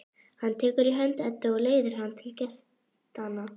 Hann tekur í hönd Eddu og leiðir hana til gestanna.